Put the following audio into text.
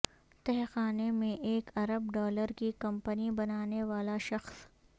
تہہ خانے میں ایک ارب ڈالر کی کمپنی بنانے والا شخص